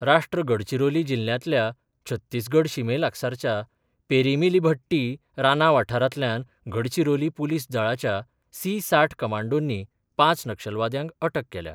राष्ट्र गडचिरोली जिल्ल्यांतल्या छत्तीसगड शिमे लागसारच्या पेरीमिलीभट्टी राना वाठारांतल्यान गडचिरोली पुलीस दळाच्या सी साठ कमांडोनी पांच नक्षलवाद्यांक अटक केल्या.